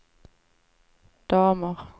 damer